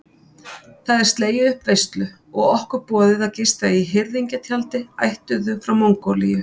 Það er slegið upp veislu og okkur boðið að gista í hirðingjatjaldi ættuðu frá Mongólíu.